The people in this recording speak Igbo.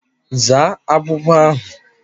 Zaa agwụgwa ahụ!